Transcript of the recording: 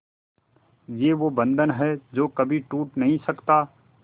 ये वो बंधन है जो कभी टूट नही सकता